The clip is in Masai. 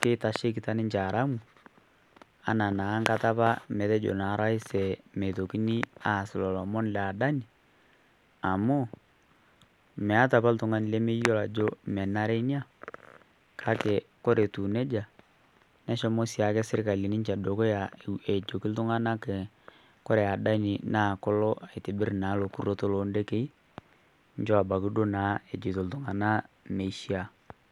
keitashekita ninche haramu ana naa nkata apa metejo naa rais meitokini aas lolo omon le Adani amu meatai apa ltung'ani lemeyuolo ajo menare inia kake kore etuu neja neshomo siake sirkali dukuya ejoki ltung'ana kore Adani kolo aitobirr naa lo lurroto loo ndekei nchoo abaki duo naa ejoito ltung'ana meishia.